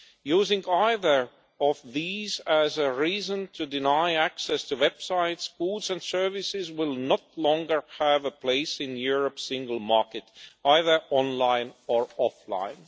Using either of these as a reason to deny access to websites, goods or services will finally no longer have a place in Europe's single market, either online or offline.